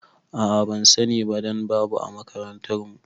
A'a bansani ba dan babu a makarantar mu